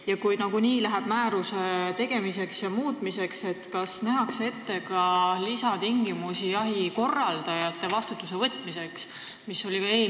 Ja kui nagunii läheb määruse tegemiseks või muutmiseks, kas siis nähakse ette ka lisatingimused jahi korraldajate vastutusele võtmiseks?